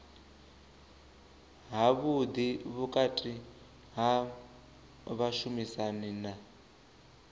havhuḓi vhukati ha vhashumisani na